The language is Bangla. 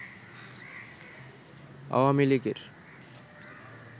আওয়ামী লীগের